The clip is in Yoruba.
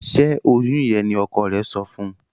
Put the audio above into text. Ṣe oyún yén ní ọkọ rẹ sọfún